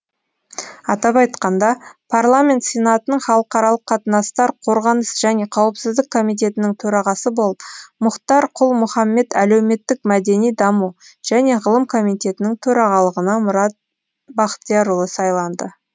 атап айтқанда парламент сенатының халықаралық қатынастар қорғаныс және қауіпсіздік комитетінің төрағасы болып мұхтар құл мұхаммед әлеуметтік мәдени даму және ғылым комитетінің төрағалығына мұрат бахтиярұлы сайланды